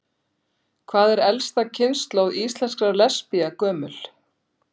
Hvað er elsta kynslóð íslenskra lesbía gömul?